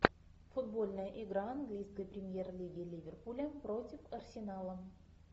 футбольная игра английской премьер лиги ливерпуля против арсенала